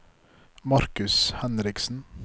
Marcus Henriksen